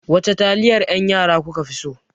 Wace taliyar yan yara kuka fi so?